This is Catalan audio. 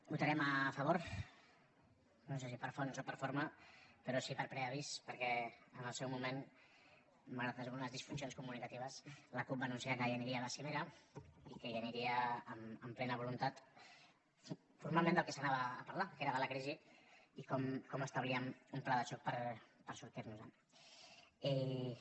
votarem a favor no sé si per fons o per forma però sí per preavís perquè en el seu moment malgrat algunes disfuncions comunicatives la cup va anunciar que aniria a la cimera i que hi aniria amb plena voluntat formalment del que s’hi anava a parlar que era de la crisi i com establíem un pla de xoc per sortir nos en